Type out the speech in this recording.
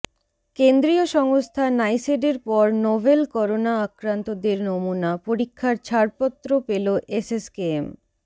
কেন্দ্রীয় সংস্থা নাইসেডের পর নোভেল করোনা আক্রান্তদের নমুনা পরীক্ষার ছাড়পত্র পেল এসএসকেএম